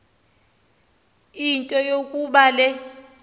into yokuba le